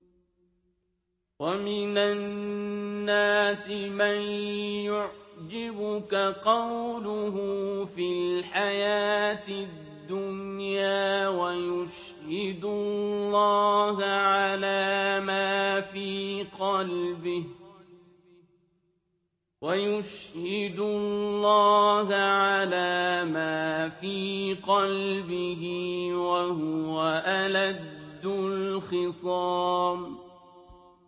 وَمِنَ النَّاسِ مَن يُعْجِبُكَ قَوْلُهُ فِي الْحَيَاةِ الدُّنْيَا وَيُشْهِدُ اللَّهَ عَلَىٰ مَا فِي قَلْبِهِ وَهُوَ أَلَدُّ الْخِصَامِ